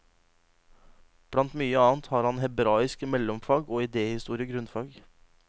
Blant mye annet har han hebraisk mellomfag, og idéhistorie grunnfag.